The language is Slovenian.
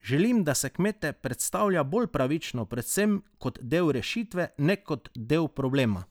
Želim, da se kmete predstavlja bolj pravično, predvsem kot del rešitve, ne kot del problema.